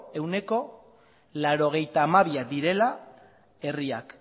ehuneko laurogeita hamabiak direla herriak